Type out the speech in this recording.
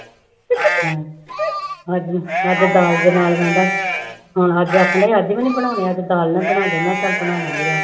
ਅੱਜ ਅੱਜ ਦਾਲ ਬਣਾ ਕਹਿੰਦਾ, ਹੁਣ ਅੱਜ ਆਖਦਾ ਅੱਜ ਵੀ ਨੀ ਬਣਾਉਣੇ ਅੱਜ ਦਾਲ ਨਾਲ ਬਣਾ ਦੇ, ਮੈਂ ਕਿਹਾ ਚੱਲ ਬਣਾ ਦੇਵਾਂਗੀ ਆ